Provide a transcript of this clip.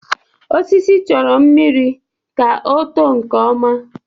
Osisi chọrọ mmiri ka ọ too nke ọma